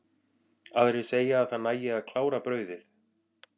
Aðrir segja að það nægi að klára brauðið.